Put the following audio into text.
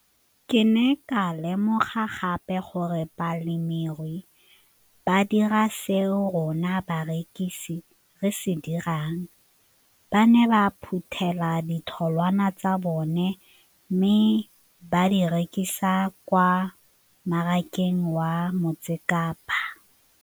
Ke ne ka lemoga gape gore balemirui ba dira seo rona barekisi re se dirang, ba ne ba phuthela ditholwana tsa bona mme ba di rekisa kwa marakeng wa Motsekapa.